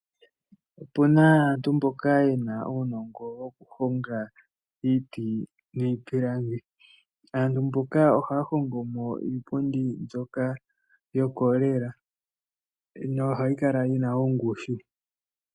Opu na aantu mboka ye na uunongo wokuhonga iiti niipilangi. Aantu mboka ohaya hongomo iipundi mbyoka yokolela nohayi kala yi na ongushu.